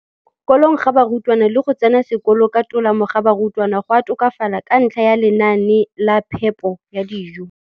kolong ga barutwana le go tsena sekolo ka tolamo ga barutwana go a tokafala ka ntlha ya lenaane la phepo ya dijo.